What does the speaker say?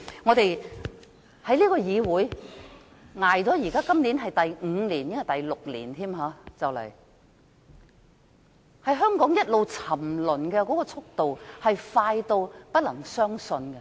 我在這個議會內已度過近6年，香港一直沉淪，速度快得不能置信。